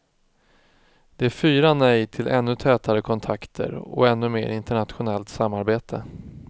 Det är fyra nej till ännu tätare kontakter och ännu mer internationellt samarbete.